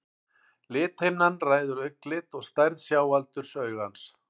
lithimnan ræður augnlit og stærð sjáaldurs augans